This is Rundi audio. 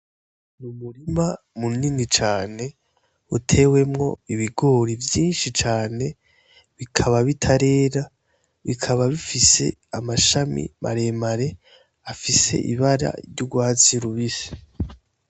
N'umurima munini cane utewemwo ibigori vyinshi cane bikaba bitarera bikaba bifise amashami mare mare afise ibara ry'urwatsi rubisi.